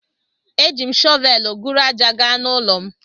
E jim shovelu guru aja gaa na ụlọ'm.